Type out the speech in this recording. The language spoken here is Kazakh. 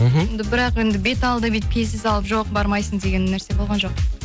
мхм бірақ енді беталды бүйтіп кесе салып жоқ бармайсын деген нәрсе болған жоқ